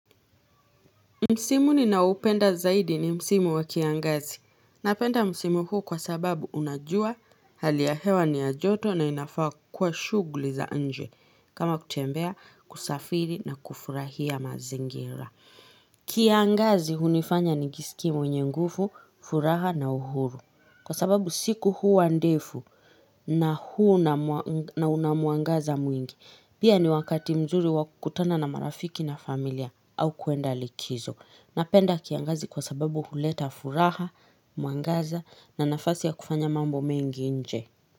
Msimuni na upenda zaidi ni msimu wa kiangazi. Napenda msimu huu kwa sababu unajua hali ya hewa ni ya joto na inafaa kwa shuguli za anje kama kutembea kusafiri na kufurahia mazingira. Kiangazi hunifanya ni nijisikimo nye ngufu, furaha na uhuru Kwa sababu siku huu andefu na huu na unamuangaza mwingi. Pia ni wakati mzuri wakutana na marafiki na familia au kuenda likizo. Napenda kiangazi kwa sababu huleta furaha, muangaza na nafasi ya kufanya mambo mengi nje.